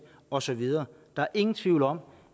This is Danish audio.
og så videre der er ingen tvivl om